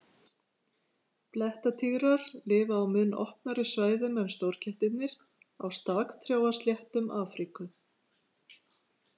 Blettatígrar lifa á mun opnari svæðum en stórkettirnir, á staktrjáasléttum Afríku.